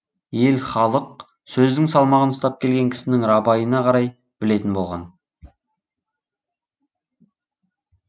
ел халық сөздің салмағын ұстап келген кісінің рабайына қарай білетін болған